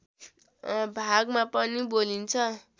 भागमा पनि बोलिन्छ